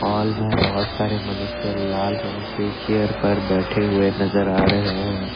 Hall मे बहोत सारे मनुष्य लाल रंग के चेयर पर बैठे हुए नजर आ रहे हैं।